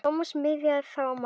Thomas miðaði þá á magann.